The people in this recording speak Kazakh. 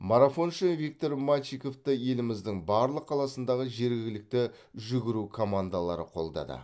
марафоншы виктор мальчиковты еліміздің барлық қаласындағы жергілікті жүгіру командалары қолдады